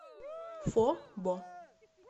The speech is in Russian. фо бо